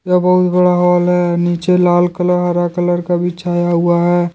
यह बहुत बड़ा हाल है नीचे लाल कलर हरा कलर का बिछाया हुआ है ।